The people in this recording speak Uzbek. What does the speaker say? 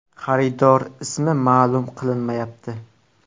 Xaridor ismi ma’lum qilinmayapti.